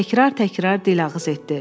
Təkrar-təkrar dilağız etdi.